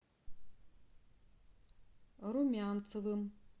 румянцевым